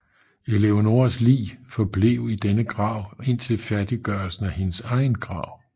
Eleonoras lig forblev i denne grav indtil færdiggørelsen af hendes egen grav